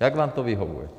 Jak vám to vyhovuje.